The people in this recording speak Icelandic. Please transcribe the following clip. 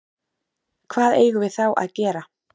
Hvað eigum við þá að gera?